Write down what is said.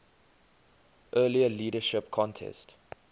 earlier leadership contest